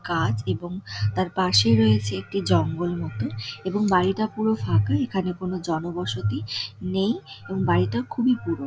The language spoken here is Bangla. কাঁচ এবং তার পাশেই রয়েছে একটি জঙ্গল মতো এবং বাড়িটা পুরো ফাঁকা এখানে কোনো জনবসতি নেই এবং বাড়িটা খুবই পুরো--